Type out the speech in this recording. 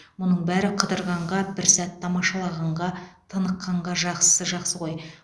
бұның бәрі қыдырғанға бір сәт тамашалағанға тыныққанға жақсысы жақсы ғой